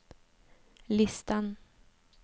listan